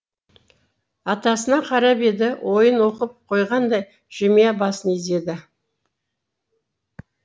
атасына қарап еді ойын оқып қойғандай жымия басын изеді